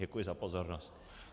Děkuji za pozornost.